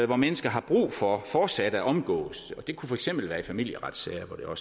hvor mennesker har brug for fortsat at omgås det kunne for eksempel være i familieretssager hvor